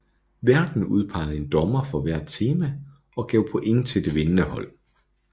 Værten udpegede en dommer for hvert tema og gav point til det vindende hold